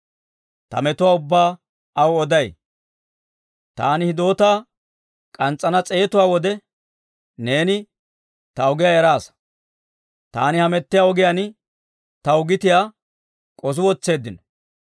Taani hidoota k'ans's'ana matiyaa wode, neeni ta ogiyaa eraasa. Taani hamettiyaa ogiyaan taw gitiyaa k'osi wotseeddino.